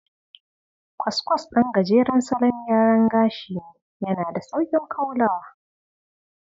Kwaskwas ɗan gajeren salon gyara gashi ne, yana da sauƙin kaulawa.